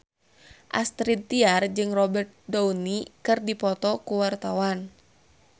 Astrid Tiar jeung Robert Downey keur dipoto ku wartawan